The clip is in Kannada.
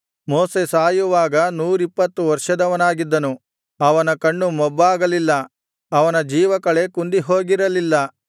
ಮೋಶೆ ಸಾಯುವಾಗ ನೂರಿಪ್ಪತ್ತು ವರ್ಷದವನಾಗಿದ್ದನು ಅವನ ಕಣ್ಣು ಮೊಬ್ಬಾಗಲಿಲ್ಲ ಅವನ ಜೀವಕಳೆ ಕುಂದಿಹೋಗಿರಲಿಲ್ಲ